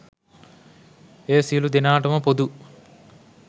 එය සියලු දෙනාට ම පොදු